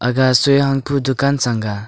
aga soi hang pu dukan sanga.